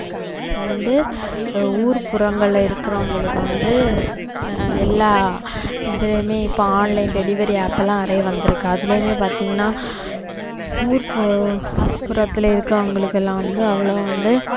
வந்து ஊர் புறங்கள்ல இருக்குறவங்களுக்கு வந்து எல்லா இதையுமே இப்போ online delivery app எல்லாம் நிறைய வந்திருக்கு அதுலேயுமே பாத்தீங்கன்னா ஊர்புறம்~ புறத்துல இருக்குறவங்களுக்கு எல்லாம் வந்து அவ்வளவு வந்து